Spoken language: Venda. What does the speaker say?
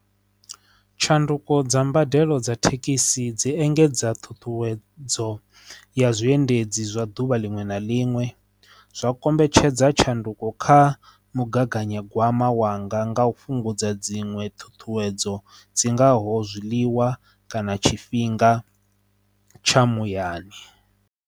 Tshanduko dza mbadelo dza thekhisi dzi engedza thuthuwedzo ya zwiendedzi zwa duvha liṅwe na liṅwe zwa kombetshedza tshanduko kha mugaganyagwama wanga nga u fhungudza dziṅwe thuthuwedzo dzi ngaho zwiḽiwa kana tshifhinga tsha muyani.